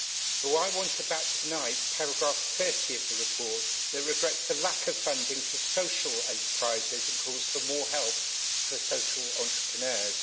But I want to back tonight paragraph 30 of the report, which regrets the lack of funding to social enterprises and calls for more help for social entrepreneurs.